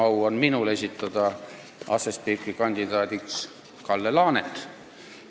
Minul on veel suurem au esitada asespiikri kandidaadiks Kalle Laanet.